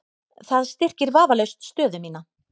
Það styrkir vafalaust stöðu mína.